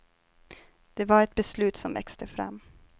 Det var ett beslut som växte fram.